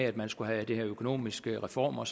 at man skulle have de her økonomiske reformer